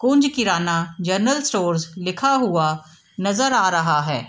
कुंज Kirana general stores लिखा हुआ नजर आ रहा है।